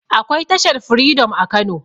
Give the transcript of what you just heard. akwai tashar freedom a kano